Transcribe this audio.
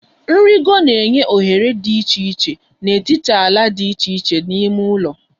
Nrịgo na-enye ohere ịgagharị n'etiti ala dị iche iche n'ime ụlọ